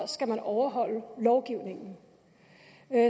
skal man overholde lovgivningen